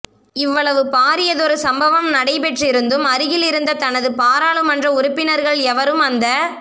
இவ்வளவு பாரியதொரு சம்பவம் நடைபெற்றிருந்தும் அருகிலிருந்த தனது பாராளுமன்ற உறுப்பினர்கள் எவரும் அந்த